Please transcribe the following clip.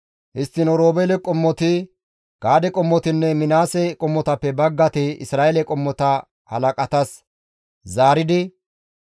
Histtiin Oroobeele qommoti, Gaade qommotinne Minaase qommotappe baggati Isra7eele qommota halaqatas zaaridi,